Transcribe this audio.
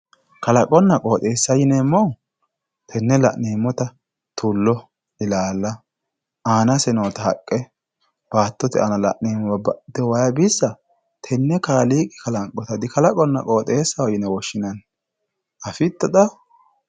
Kalaqonna qooxxeessa yinemohu tene la'neemota tulo, illalla aanase noota haqe baatote aana la'nemo babaxitino wayi bissa tene kaaliqi kalanqota kalaqonna qooxxeesaho yine woshi'neemo afito xaa